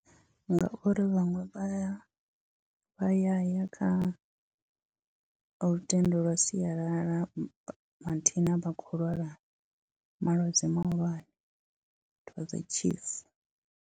Ngauri vhaṅwe vha ya vha ya ya kha lutendo lwa sialala mathina vha khou lwala malwadze mahulwane .